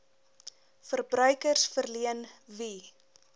verbruikers verleen wie